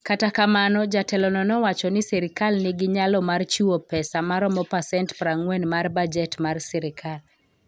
Kata kamano, jatelono nowacho ni sirkal nigi nyalo mar chiwo pesa maromo pasent 40 mar bajet mar sirkal.